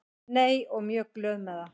Nei og mjög glöð með það.